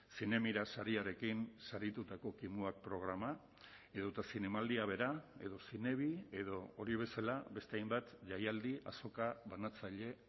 zinemira sariarekin saritutako kimuak programa edota zinemaldia bera edo zinebi edo hori bezala beste hainbat jaialdi azoka banatzaile